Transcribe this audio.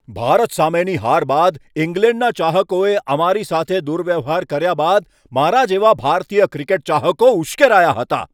ભારત સામેની હાર બાદ ઇંગ્લેન્ડના ચાહકોએ અમારી સાથે દુર્વ્યવહાર કર્યા બાદ મારા જેવા ભારતીય ક્રિકેટ ચાહકો ઉશ્કેરાયા હતા.